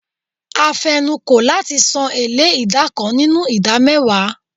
A fenu ko lati san ele ida kan ninu ida mewa